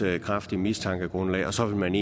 er et kraftigt mistankegrundlag og så vil man